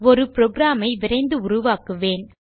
ஒரு புரோகிராம் ஐ விரைந்து உருவாக்குவேன்